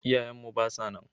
Iyaye mu ba sa nan.